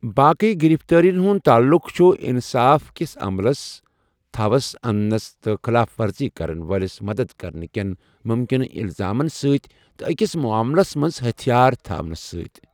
باقٕے گِرِفتٲرِین ہُنٛد تعلُق چُھ اٛنصاف کٛس عملس تھو٘س اننہٕ تہٕ خلاف ورزی كرن وٲلِس مَدد کرنہٕ کیٚن مُمکِنہٕ اِلزامن سۭتۍ، تہٕ أکِس معاملس منٛز ہتھیار تھاونس سۭتۍ ۔